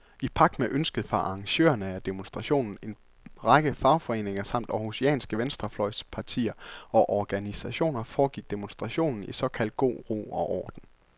I pagt med ønsket fra arrangørerne af demonstrationen, en række fagforeninger samt århusianske venstrefløjspartier og organisationer, foregik demonstrationen i såkaldt god ro og orden.